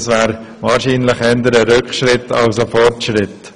Es wäre somit eher ein Rückschritt als ein Fortschritt.